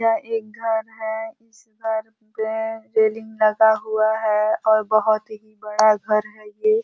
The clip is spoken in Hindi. यह एक घर है। इस घर में रेलिंग लगा हुआ है और बहुत ही बड़ा घर है ये।